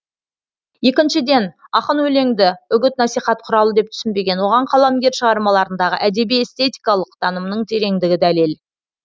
екіншіден ақын өлеңді үгіт насихат құралы деп түсінбеген оған қаламгер шығармаларындағы әдеби эстетикалық танымның тереңдігі дәлел